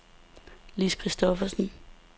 Lis Christophersen